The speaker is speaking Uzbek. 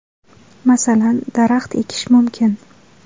Masalan, daraxt ekish mumkin.